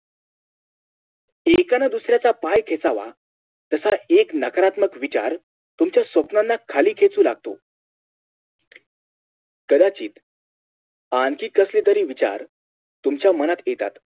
एकानं दुसऱ्याचा पाय खेचावा तसाच एक नकारात्मक विचार तुमच्या स्वप्नानं खाली खेचू लागतो कदाचित आणखी कसले तरी विचार तुमच्या मनात येतात